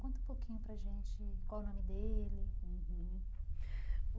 Conta um pouquinho para a gente qual o nome dele uhum.